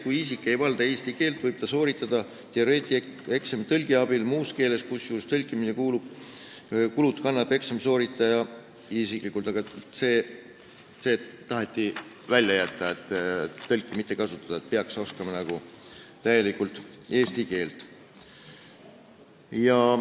"Kui isik ei valda eesti keelt, võib ta sooritada teooriaeksami tõlgi abil muus keeles, kusjuures tõlkimise kulud kannab eksamit sooritada soovinud isik" – see taheti välja jätta, tõlki ei tohiks kasutada, peaks oskama täielikult eesti keelt.